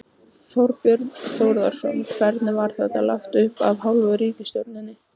Þorbjörn Þórðarson: Hvernig var þetta lagt upp af hálfu ríkisstjórnarinnar?